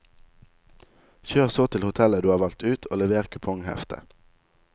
Kjør så til hotellet du har valgt ut og lever kupongheftet.